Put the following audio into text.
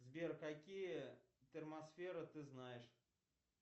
сбер какие термосферы ты знаешь